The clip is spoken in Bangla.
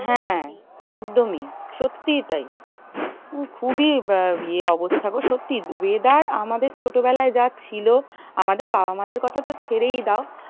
হ্যাঁ একদমই সত্যি তাই খুবই ইয়ে অবস্থা গো সত্যি weather আমাদের ছোট বেলায় যা ছিল আমাদের বাবা মা দের কথা তো ছেড়েই দাও।